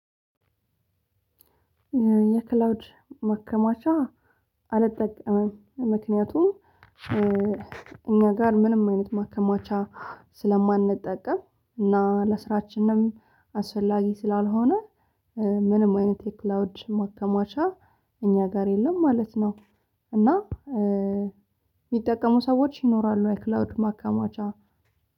የክላውድ መከማቻ አልጠቀምም ምክንያቱም እኛ ጋር ምንም አይነት ማከማቻ ስለማንጠቀም እና ለስራችንም አስፈላጊ ስላልሆነ ምንም አይነት የክላውድ ማከማቻ እኛ ጋር የለም ማለት ነው። እና እሚጠቀሙ ሰዎች ይኖራሉ አይ ክላውድ ማካማቻ።